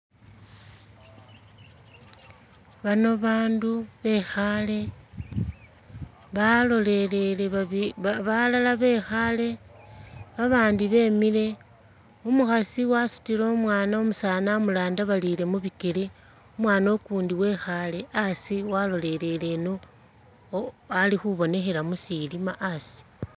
Bano ba bandu bekhale balolelele balala bekhale babandi bemile, umukhasi wasutile umwana umusaani wamurandabarile mubikele umwana ukundi wekhale asi walolelele ino alikhubonekhela musilima asi.